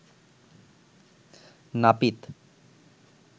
নাপিত